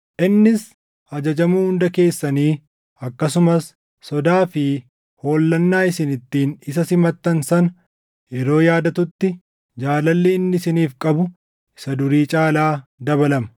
Innis ajajamuu hunda keessanii akkasumas sodaa fi hollannaa isin ittiin isa simattan sana yeroo yaadatutti jaalalli inni isiniif qabu isa durii caalaa dabalama.